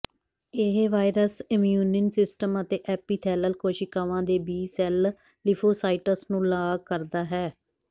ਇਹ virus immune system ਅਤੇ epithelial ਕੋਸ਼ੀਕਾਵਾਂ ਦੇ ਬੀ ਸੈਲ ਲਿਫੋਂਸਾਈਟਸ ਨੂੰ ਲਾਗ ਕਰਦਾ ਹੈ